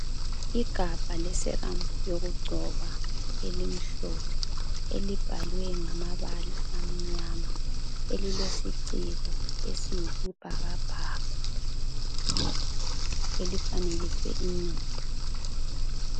Igabha leSerum yokugcoba elimhlophe elibhalwe ngamabala amnyama elilesiciko esiyisibhakabhaka elifanekiswe inyoni.